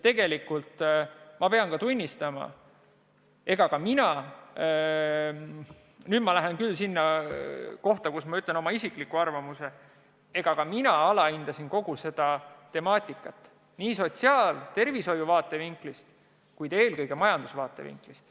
Nüüd ma laskun küll selleni, et ütlen oma isikliku arvamuse, aga ma tunnistan, et ka mina alahindasin kogu seda probleemi nii sotsiaalsest kui ka tervishoiu vaatevinklist, kuid eelkõige majanduse vaatevinklist.